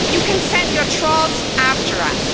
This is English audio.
You can send your trolls after us.